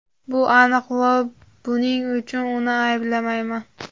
Bu aniq va buning uchun uni ayblamayman.